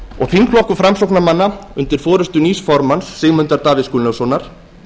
þingflokkur framsóknarmanna undir forustu nýs formanns sigmundar davíðs gunnlaugssonar